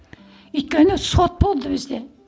өйткені сот болды бізде